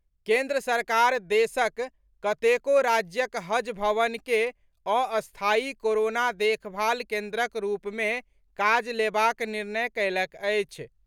केन्द्र सरकार देशक कतेको राज्यक हज भवन के अस्थायी कोरोना देखभाल केन्द्रक रूप मे काज लेबाक निर्णय कयलक अछि।